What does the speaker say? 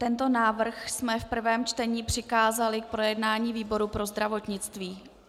Tento návrh jsme v prvém čtení přikázali k projednání výboru pro zdravotnictví.